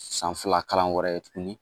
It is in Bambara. San fila kalan wɛrɛ tuguni